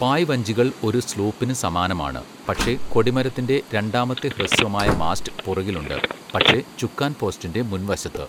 പായ് വഞ്ചികൾ ഒരു സ്ലൂപ്പിന് സമാനമാണ്, പക്ഷേ കൊടിമരത്തിന്റെ രണ്ടാമത്തെ ഹ്രസ്വമായ മാസ്റ്റ് പുറകിൽ ഉണ്ട്, പക്ഷേ ചുക്കാൻപോസ്റ്റിന്റെ മുൻവശത്ത്.